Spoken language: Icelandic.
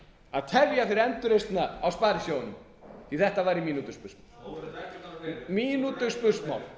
að tefja fyrir endurreisn á sparisjóðunum því þetta væri mínútuspursmál